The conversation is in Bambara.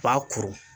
Ba kuru